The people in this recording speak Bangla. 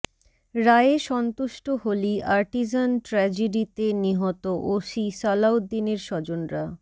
রায়ে সন্তুষ্ট হলি আর্টিজান ট্র্যাজেডিতে নিহত ওসি সালাউদ্দিনের স্বজনরা